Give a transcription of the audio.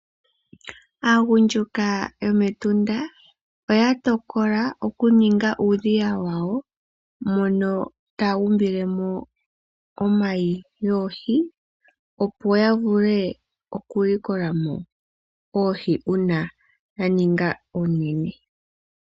Aagundjuka yomEtunda oya tokola okuninga uudhiya wawo, mono taya umbilemo omayi goohi opo ya vule okulikolamo oohi uuna dha ninga oonene.